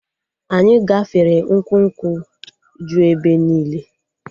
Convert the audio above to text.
Anyị gafere ukwu nkwụ ju ebe niile